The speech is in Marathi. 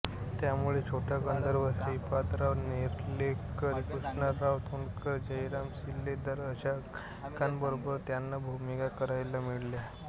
त्यामुळे छोटा गंधर्व श्रीपादराव नेर्लेकर कृष्णराव तोंडकर जयराम शिलेदार अशा गायकनटांबरोबर त्यांना भूमिका करायला मिळाल्या